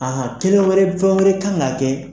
Ahan kelen wɛrɛ fɛn wɛrɛ kan ka kɛ